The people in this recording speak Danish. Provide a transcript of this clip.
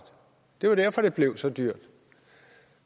det var derfor det blev så dyrt og